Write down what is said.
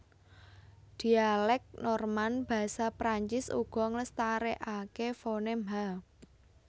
Dhialèk Norman basa Prancis uga nglestarèkaké fonem h